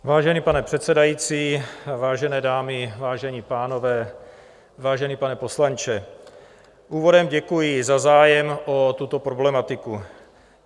Vážený pane předsedající, vážené dámy, vážení pánové, vážený pane poslanče, úvodem děkuji za zájem o tuto problematiku.